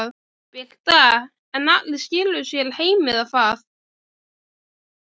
Birta: En allir skiluðu sér heim eða hvað?